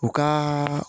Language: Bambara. U ka